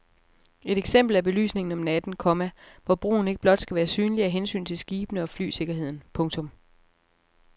Et eksempel er belysningen om natten, komma hvor broen ikke blot skal være synlig af hensyn til skibene og flysikkerheden. punktum